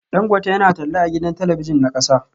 Dangote yana talla a gidan talabijin na kasa